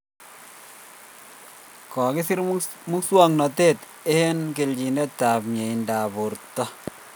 kokisir muswognatet eng kelchin ab miendo ab borto